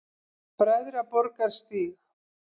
Bræðraborgarstíg